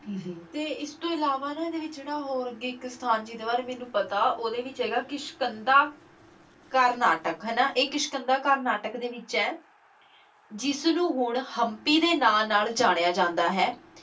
ਤੇ ਇਸਤੋਂ ਇਲਾਵਾ ਨਾ ਇਹਦੇ ਵਿੱਚ ਜਿਹੜਾ ਹੋਰ ਇੱਕ ਸਥਾਨ ਜਿਹਦੇ ਬਾਰੇ ਮੈਨੂੰ ਪਤਾ ਉਹਦੇ ਵਿੱਚ ਹੈਗਾ ਕੀ ਕਿਸ਼ਕੰਧਾ ਕਰਨਾਟਕ ਹਨਾਂ ਇੱਕ ਕਿਸ਼ਕੰਧਾ ਕਰਨਾਟਕ ਦੇ ਵਿੱਚ ਹੈ, ਜਿਸਨੂੰ ਹੁਣ ਹਮਪੀ ਦੇ ਨਾਂ ਨਾਲ ਜਾਣਿਆ ਜਾਂਦਾ ਹੈ।